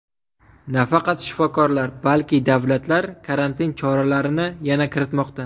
Nafaqat shifokorlar, balki davlatlar karantin choralarini yana kiritmoqda.